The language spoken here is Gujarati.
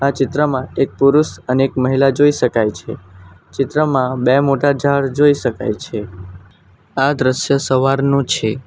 ચિત્રમાં એક પુરુષ અને એક મહિલા જોઈ શકાય છે ચિત્રમાં બે મોટા ઝાડ જોઈ શકાય છે આ દ્રશ્ય સવારનું છે.